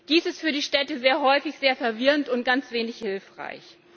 Dies ist für die Städte sehr häufig sehr verwirrend und ganz wenig hilfreich.